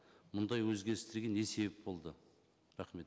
мұндай өзгерістерге не себеп болды рахмет